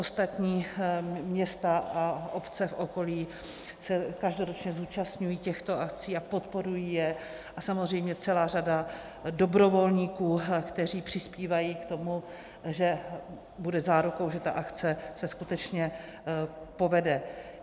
Ostatní města a obce v okolí se každoročně účastní těchto akcí a podporují je a samozřejmě celá řada dobrovolníků, kteří přispívají k tomu, že bude zárukou, že ta akce se skutečně povede.